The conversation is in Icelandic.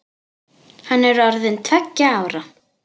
Hann er orðinn tveggja ára.